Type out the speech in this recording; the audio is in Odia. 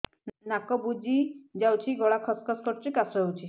ନାକ ବୁଜି ଯାଉଛି ଗଳା ଖସ ଖସ କରୁଛି ଏବଂ କାଶ ହେଉଛି